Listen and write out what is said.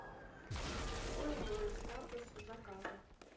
какой мой статус заказа